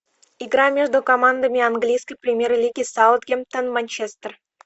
игра между командами английской премьер лиги саутгемптон манчестер